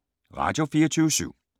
Radio24syv